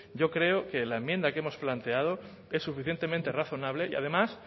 yo creo que la enmienda que hemos planteado es suficientemente razonable y además